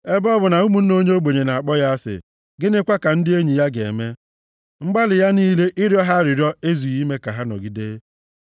Ebe ọ bụ na ụmụnne onye ogbenye na-akpọ ya asị, gịnịkwa ka ndị enyi ya ga-eme? Mgbalị ya niile ịrịọ ha arịrịọ ezughị ime ka ha nọgide.